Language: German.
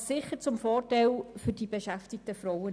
Das ist sicher zum Vorteil der beschäftigten Frauen.